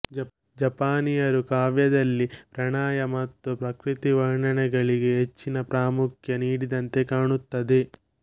ಜಪಾನೀಯರು ಕಾವ್ಯದಲ್ಲಿ ಪ್ರಣಯ ಮತ್ತು ಪ್ರಕೃತಿವರ್ಣನೆಗಳಿಗೆ ಹೆಚ್ಚಿನ ಪ್ರಾಮುಖ್ಯ ನೀಡಿದಂತೆ ಕಾಣುತ್ತದೆ